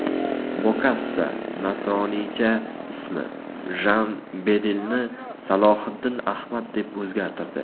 Bokassa nasroniycha ismi Jan Bedelni Salohiddin Ahmad deb o‘zgartirdi.